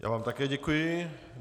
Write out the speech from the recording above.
Já vám také děkuji.